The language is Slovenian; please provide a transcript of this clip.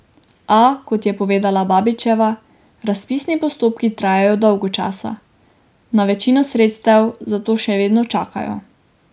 A, kot je povedala Babičeva, razpisni postopki trajajo dolgo časa, na večino sredstev zato še vedno čakajo.